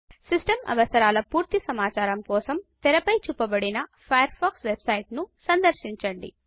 system అవసరాల పూర్తి సమాచారం కోసం తెర పై చూపబడిన ఫయర్ ఫాక్స్ వెబ్సైట్ను సందర్శించండి